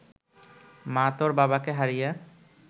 মা তোর বাবাকে হারিয়ে